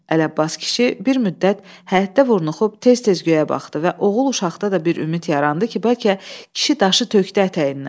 Ələbbas kişi bir müddət həyətdə vurnuxub tez-tez göyə baxdı və oğul uşaqda da bir ümid yarandı ki, bəlkə kişi daşı tökdü ətəyindən.